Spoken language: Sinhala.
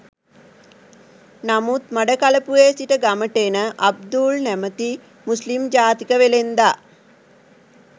නමුත් මඩකලපුවේ සිට ගමට එන අබ්දුල් නැමැති මුස්ලිම් ජාතික වෙළෙන්දා